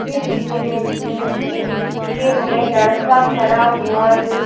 इस इमेज में एक जिम में लड़का खड़ा हुआ है।